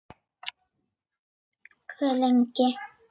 Hve lengi?